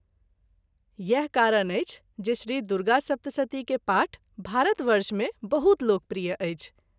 इएह कारण अछि जे श्री दुर्गासप्तशती के पाठ भारत वर्ष मे बहुत लोकप्रिय अछि।